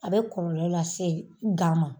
A bɛ kɔlɔlɔ lase gan ma.